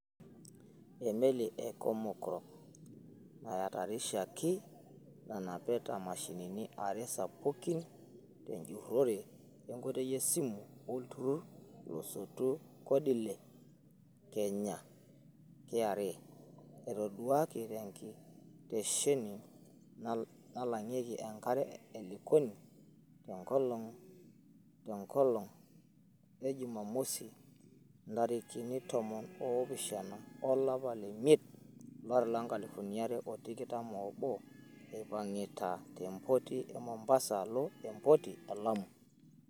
Emelii e Comarco nayatarishoreki nanapita mashinini are sapuki tejurore enkitoi esimu Olturur losotu Kodile Kenya (KRA) etoduaki tenkitesheni nalangeki enkare e Likoni tenkolong ejumatatu, ntarikini tomon oopishana olapa leimiet olari loonkalifuni are otikitam oobo, eipangita tempoti e Mobasa alo emopti e Lamu.